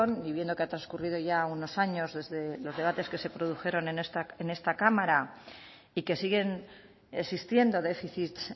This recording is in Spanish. y viendo que ha transcurrido ya unos años desde los debates que se produjeron en esta cámara y que siguen existiendo déficits